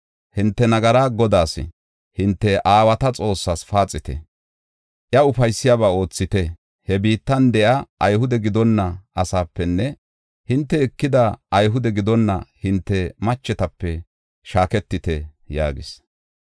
Hinte nagara Godaas, hinte aawata Xoossas paaxite; iya ufaysiyaba oothite. He biittan de7iya Ayhude gidonna asaapenne hinte ekida Ayhude gidonna hinte machetape shaaketite” yaagis.